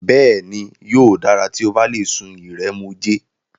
Bẹ́ẹ̀ni, yóò dára tí o bá lè sun ìrẹ̀mòjé.